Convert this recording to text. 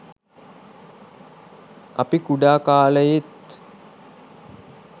අපි කුඩා කාලයේත්